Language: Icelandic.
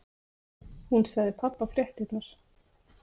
Hún sagði pabba fréttirnar.